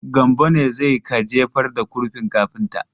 Gambo ne zai ka jefar da kurfin kafinta.